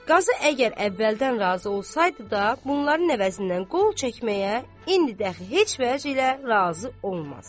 Qazı əgər əvvəldən razı olsaydı da, bunların əvəzindən qol çəkməyə indi də heç vəclə razı olmaz.